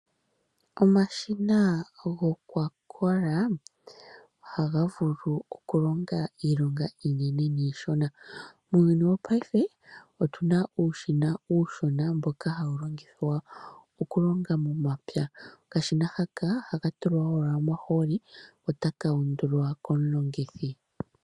Omashina gokwakola ohaga vulu okulonga iilonga iinene niishona. Muuyuni wopaife otu na uushina mboka hawu longithwa okulonga momapya. Okashina haka ohaka tulwa owala omahooli ko otaka undulwa komulongithi.